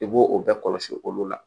I b'o o bɛɛ kɔlɔsi olu la